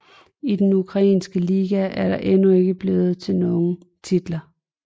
I den ukrainske liga er det endnu ikke blevet til nogen titler